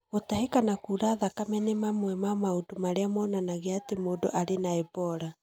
Gũtahĩka na kura thakame nĩ mamwe ma maũndũ marĩa monanagia atĩ mũndũ arĩ na Ebola.